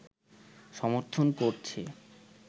সমর্থন করছে